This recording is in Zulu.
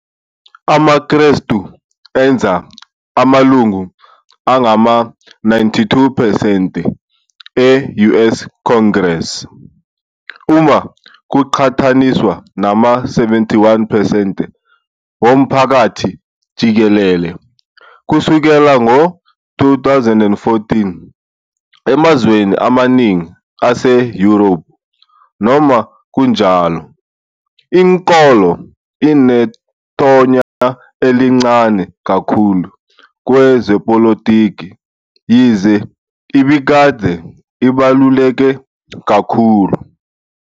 AmaKrestu enza amalungu angama-92 percent e-US Congress, uma kuqhathaniswa nama-71 percent womphakathi jikelele, kusukela ngo-2014. Emazweni amaningi ase-Europe, noma kunjalo, inkolo inethonya elincane kakhulu kwezepolitiki yize ibikade ibaluleke kakhulu.